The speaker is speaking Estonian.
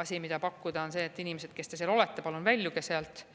asi, mida pakkuda, on see, et inimesed, kes te seal olete, palun väljuge sealt.